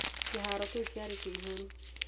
Kĩhaaro kĩu kĩarĩ kĩiyũru.